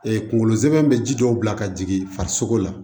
kunkolo zɛmɛ bɛ ji dɔw bila ka jigin farisoko la